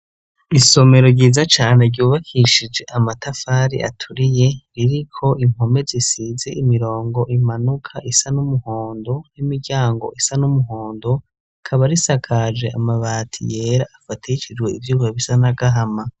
Isomero ryiza cane ryubakishije amatafari aturiye ririko impome zisize imirongo imanuka isa n'umuhondo n'imiryango isa n'umuhondo rikaba risakaje amabati yera afatishijwe ivyuma bisa n'agahama.